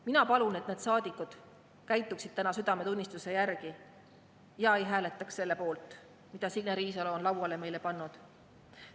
Mina palun, et need saadikud käituksid täna südametunnistuse järgi ja ei hääletaks selle poolt, mille Signe Riisalo on lauale pannud.